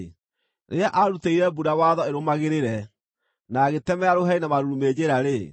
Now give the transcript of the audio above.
rĩrĩa aarutĩire mbura watho ĩrũmagĩrĩre, na agĩtemera rũheni na marurumĩ njĩra-rĩ,